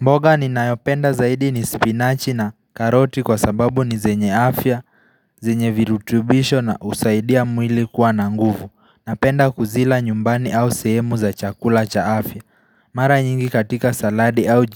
Mboga ni nayopenda zaidi ni spinachi na karoti kwa sababu ni zenye afya, zenye virutubisho na usaidia mwili kuwa na nguvu. Napenda kuzila nyumbani au sehemu za chakula cha afya. Mara nyingi katika saladi au